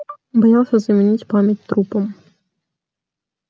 боялся заменить память трупом